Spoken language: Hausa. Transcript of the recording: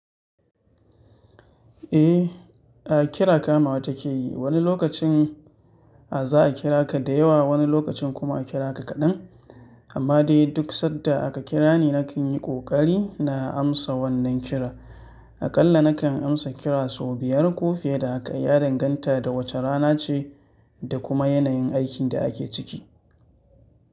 Eh, a kira kama wa take yi. Wani lokacin a za a kira ka da yawa, wani lokacin kuma a kira ka kaɗan. Amma dai duk sanda aka kirani na kan yi ƙoƙari na amsa wannan kira. Aƙalla na kan amsa kira sau biyar ko fiye da haka, ya danganta da wace rana ce da kuma yanayin aikin da ake ciki.